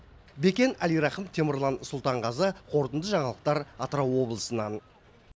бекен әлирахым темірлан сұлтанғазы қорытынды жаңалықтар атырау облысынан